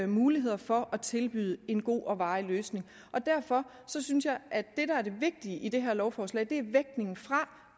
muligheder for at tilbyde en god og varig løsning derfor synes synes jeg at det der er det vigtige i det her lovforslag er